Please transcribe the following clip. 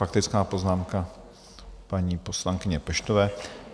Faktická poznámka paní poslankyně Peštové.